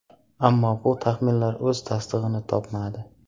Ammo bu taxminlar o‘z tasdig‘ini topmadi.